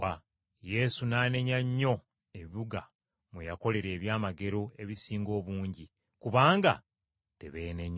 Yesu n’anenya nnyo ebibuga mwe yakolera ebyamagero ebisinga obungi, kubanga tebeenenya.